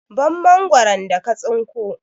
Ban Mangwaron da ka tsinko!